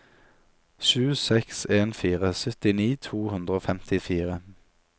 sju seks en fire syttini to hundre og femtifire